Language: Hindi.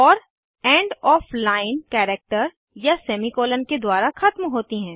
और एंड ऑफ़ लाइन कैरेक्टर या सेमीकोलन के द्वारा ख़त्म होती हैं